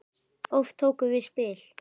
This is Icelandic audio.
Oft tókum við spil.